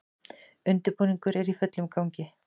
Undirbúningur er í fullum gangi